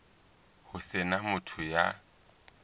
ho se na motho ya